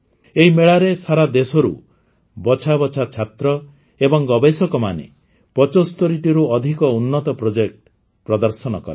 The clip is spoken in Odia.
ଏହି ମେଳାରେ ସାରା ଦେଶରୁ ବଛାବଛା ଛାତ୍ର ଏବଂ ଗବେଷକମାନେ ୭୫ଟିରୁ ଅଧିକ ଉନ୍ନତ ପ୍ରୋଜେକ୍ଟ ପ୍ରଦର୍ଶନ କଲେ